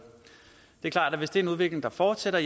jo klart at det hvis det er en udvikling der fortsætter